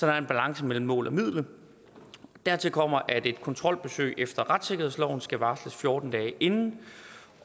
er en balance mellem mål og middel dertil kommer at et kontrolbesøg efter retssikkerhedsloven skal varsles fjorten dage inden